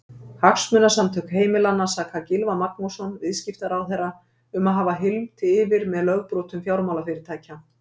Hagsmunasamtök heimilanna saka Gylfa Magnússon, viðskiptaráðherra um að hafa hylmt yfir með lögbrotum fjármálafyrirtækja.